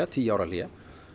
tíu ára hlé